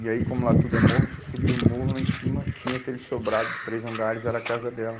E aí, como lá tudo é morro, você subia o morro lá em cima, tinha aquele sobrado de três andares, era a casa dela.